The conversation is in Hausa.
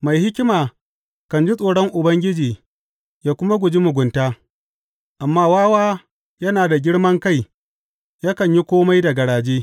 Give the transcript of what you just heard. Mai hikima kan ji tsoron Ubangiji ya kuma guji mugunta, amma wawa yana da girman kai yakan yi kome da garaje.